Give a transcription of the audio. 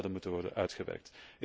moeten worden uitgewerkt.